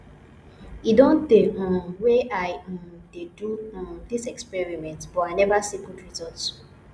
e don tey um wey i um dey do um dis experiment but i never see good result